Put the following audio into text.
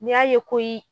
N'i y'a ye ko